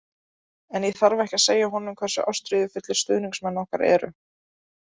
En ég þarf ekki að segja honum hversu ástríðufullir stuðningsmenn okkar eru.